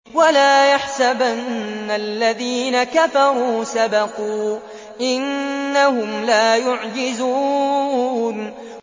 وَلَا يَحْسَبَنَّ الَّذِينَ كَفَرُوا سَبَقُوا ۚ إِنَّهُمْ لَا يُعْجِزُونَ